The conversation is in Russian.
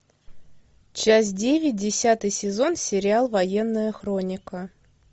часть девять десятый сезон сериал военная хроника